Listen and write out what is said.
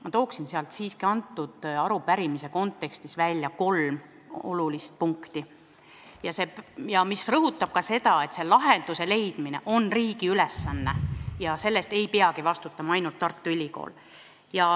Ma toon sealt selle arupärimise kontekstis välja kolm olulist punkti, mis rõhutavad seda, et lahenduse leidmine on riigi ülesanne ja selle eest ei pea vastutama ainult Tartu Ülikool.